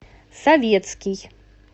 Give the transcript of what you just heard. советский